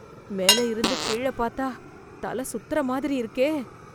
மேலே இருந்து கீழ பாத்தா தல சுத்தற மாதிரி இருக்கே...